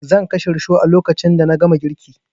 Zan kashe rishon a lokacin da na gama girkin